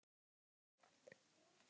Taktu til í skáp.